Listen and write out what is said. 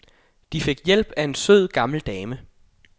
De fik hjælp af en sød gammel dame.